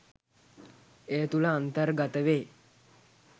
ඒ තුළ අන්තර්ගත වේ